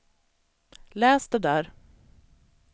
läs det där